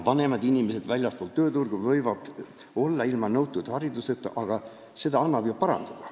Vanemad inimesed väljaspool tööturgu võivad olla ilma nõutud hariduseta, aga seda annab ju parandada.